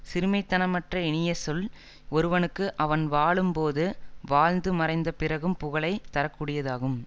சிறுமைத்தனமற்ற இனியசொல் ஒருவனுக்கு அவன் வாழும் போதும் வாழ்ந்து மறைந்த பிறகும் புகழை தரக்கூடியதாகும்